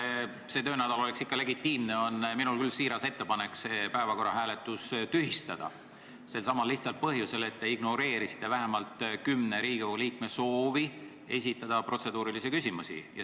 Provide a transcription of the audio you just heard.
Selleks, et see töönädal oleks ikka legitiimne, on minul küll siiras ettepanek senine päevakorra hääletus tühistada – selsamal lihtsal põhjusel, et te ignoreerisite vähemalt kümne Riigikogu liikme soovi esitada protseduurilisi küsimusi.